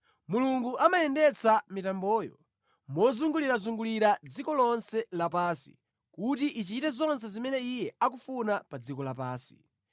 Mulungu amayendetsa mitamboyo mozungulirazungulira dziko lonse lapansi kuti ichite zonse zimene Iye akufuna pa dziko lapansi.